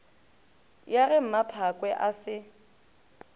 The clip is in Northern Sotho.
ya ge mmaphakwe a se